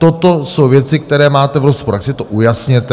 Toto jsou věci, které máte v rozporu, tak si to ujasněte.